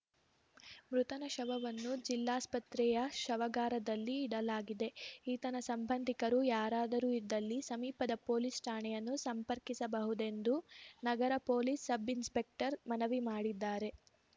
ಮೃತನ ಶವವನ್ನು ಜಿಲ್ಲಾಸ್ಪತ್ರೆಯ ಶವಾಗಾರದಲ್ಲಿ ಇಡಲಾಗಿದೆ ಈತನ ಸಂಬಂಧಿಕರು ಯಾರಾದರೂ ಇದ್ದಲ್ಲಿ ಸಮೀಪದ ಪೊಲೀಸ್‌ ಠಾಣೆಯನ್ನು ಸಂಪರ್ಕಿಸಬಹುದೆಂದು ನಗರ ಪೊಲೀಸ್‌ ಸಬ್‌ ಇನ್ಸ್‌ಪೆಕ್ಟರ್‌ ಮನವಿ ಮಾಡಿದ್ದಾರೆ